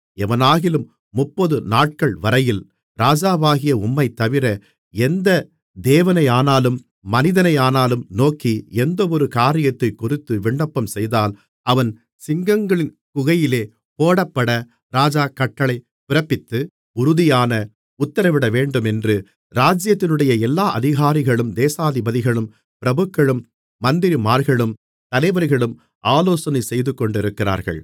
எவனாகிலும் முப்பது நாட்கள்வரையில் ராஜாவாகிய உம்மைத்தவிர எந்த தேவனையானாலும் மனிதனையானாலும் நோக்கி எந்தவொரு காரியத்தைக்குறித்து விண்ணப்பம்செய்தால் அவன் சிங்கங்களின் குகையிலே போடப்பட ராஜா கட்டளை பிறப்பித்து உறுதியான உத்திரவிடவேண்டுமென்று ராஜ்ஜியத்தினுடைய எல்லா அதிகாரிகளும் தேசாதிபதிகளும் பிரபுக்களும் மந்திரிமார்களும் தலைவர்களும் ஆலோசனை செய்துகொண்டிருக்கிறார்கள்